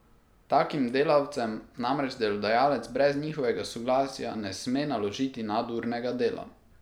Takim delavcem namreč delodajalec brez njihovega soglasja ne sme naložiti nadurnega dela.